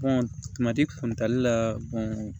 kumati kuntaali la